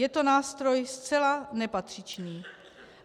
Je to nástroj zcela nepatřičný.